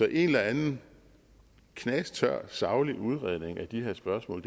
en eller anden knastør saglig udredning af de her spørgsmål